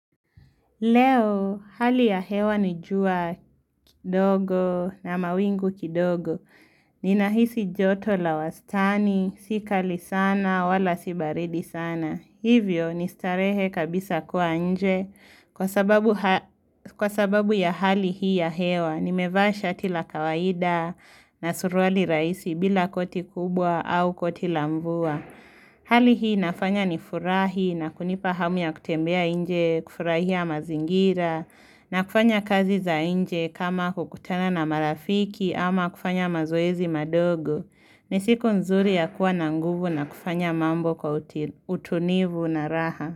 Leo, hali ya hewa ni jua kidogo na mawingu kidogo. Ninahisi joto la wastani, si kali sana, wala si baridi sana. Hivyo, nistarehe kabisa kuwa nje. Kwa sababu ha Kwa sababu ya hali hii ya hewa, nimevaa shati la kawaida na suruali rahisi bila koti kubwa au koti la mvua. Hali hii nafanya ni furahi na kunipa hamu ya kutembea inje, kufurahia mazingira na kufanya kazi za inje kama kukutana na marafiki ama kufanya mazoezi madogo ni siku nzuri ya kuwa na nguvu na kufanya mambo kwa uti utunivu na raha.